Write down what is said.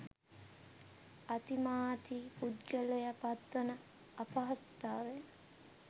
අතිමාතී පුද්ගලයා පත්වන අපහසුතාව